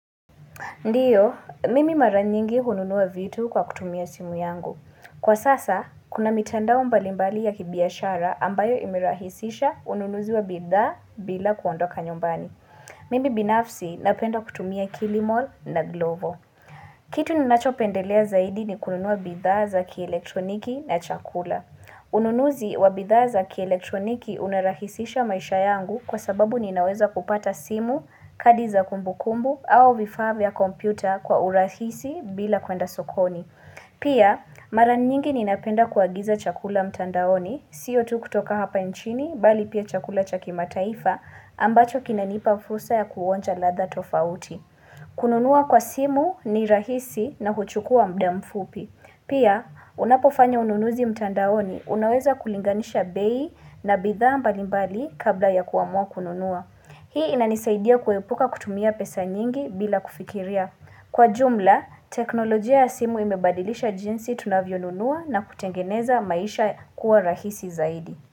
Ndiyo, mimi mara nyingi hununua vitu kwa kutumia simu yangu. Kwa sasa, kuna mitandao mbalimbali ya kibiashara ambayo imerahisisha ununuzi wa bidhaa bila kuondoka nyumbani. Mimi binafsi napenda kutumia kilimol na glovo. Kitu ninachopendelea zaidi ni kununua bidhaa za kielektroniki na chakula. Ununuzi wa bidhaa za kielektroniki unarahisisha maisha yangu kwa sababu ninaweza kupata simu, kadi za kumbukumbu au vifaa vya kompyuta kwa urahisi bila kwenda sokoni. Pia mara nyingi ninapenda kuagiza chakula mtandaoni sio tu kutoka hapa nchini bali pia chakula cha kimataifa ambacho kinanipa fursa ya kuonja ladha tofauti. Kununua kwa simu ni rahisi na huchukua muda mfupi. Pia unapofanya ununuzi mtandaoni unaweza kulinganisha bei na bidhaa mbalimbali kabla ya kuamua kununua. Hii inanisaidia kuepuka kutumia pesa nyingi bila kufikiria. Kwa jumla, teknolojia ya simu imebadilisha jinsi tunavyo nunua na kutengeneza maisha kuwa rahisi zaidi.